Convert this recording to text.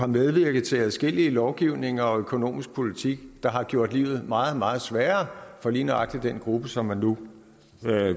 medvirket til adskillige lovgivninger og en økonomisk politik der har gjort livet meget meget sværere for lige nøjagtig den gruppe som man nu